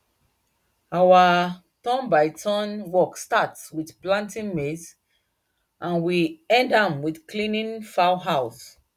our turnbyturn work start with planting maize and we end am with cleaning fowl house